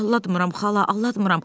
Aldatmıram xala, aldatmıram.